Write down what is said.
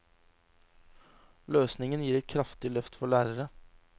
Løsningen gir et kraftig løft for lærere.